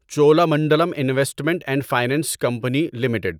Cholamandalam investment and finance company limited